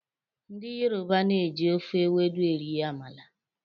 Ndị Yoruba na-eji ofe ewedu eri amala.